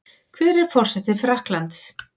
Hver er forseti Frakklands?